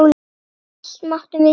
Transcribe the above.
Allt máttum við gera.